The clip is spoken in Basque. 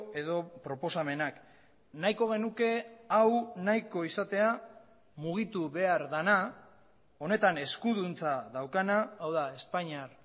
edo proposamenak nahiko genuke hau nahiko izatea mugitu behar dena honetan eskuduntza daukana hau da espainiar